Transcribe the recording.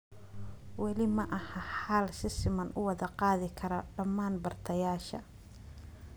Weli ma aha xal si siman u wada gaadhi kara dhammaan bartayaasha.